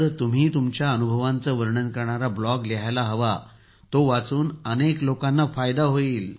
तुम्ही तुमच्या अनुभवांचे वर्णन करणारा ब्लॉग लिहायला हवा तो वाचून अनेक लोकांना फायदा होईल